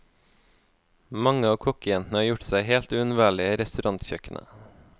Mange av kokkejentene har gjort seg helt uunnværlige i restaurantkjøkkenet.